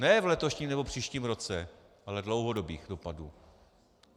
Ne v letošním nebo příštím roce, ale dlouhodobých dopadů.